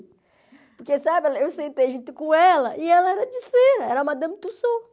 Porque, sabe, eu sentei junto com ela e ela era de cera, era a Madame Tussaud.